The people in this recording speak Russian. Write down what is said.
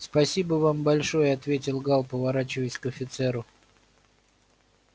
спасибо вам большое ответил гаал поворачиваясь к офицеру